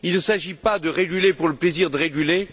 Il ne s'agit pas de réguler pour le plaisir de réguler.